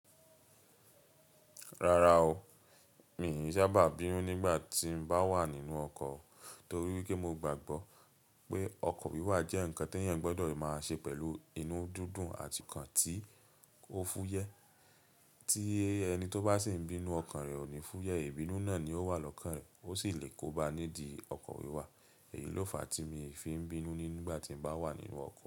Rárá o, mi ò sábà bínú nígbà tí n bá wà nínú ọkọ̀ torí pé mo gbàgbọ́ pé ọkọ̀ wíwà jẹ́ ǹkan tí èèyàn gbọdọ̀ máa ṣe pẹ̀lú inú dúdú àti nǹkan tí ó fúyẹ́. Ti ẹni tó bá sì ń bínú ọkàn rẹ̀ ò ní fúyẹ́, ìbínú náà ni ó wà lọ́kàn rẹ̀ ó sì lè kóba nídi ọkọ̀ wíwà. Èyí ló fà á tí mi o fi ń bínú nígbà tí mo bá wà nínú ọkọ̀